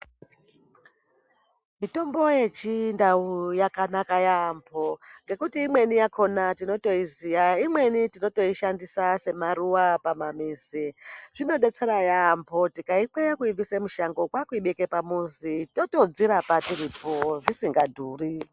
Mitombo yechindau yakanaka yaambo ngekuti imweni yakona tinotoiziya. Imweni tinotoishandisa semaruwa pamuzi. Zvimodetsera yaambo tikaibvisa mushango kwakuibeka pamuzi totozvirapa tiripo zvisingadhuri.